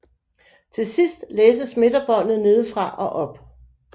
Til sidst læses midterbåndet nedefra og op